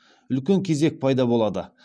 үлкен кезек пайда болады